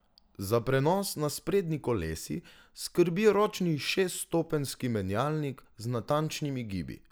Za prenos na sprednji kolesi skrbi ročni šeststopenjski menjalnik z natančnimi gibi.